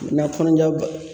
Na kɔnɔja